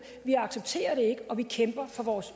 vi accepterer det ikke og vi kæmper for vores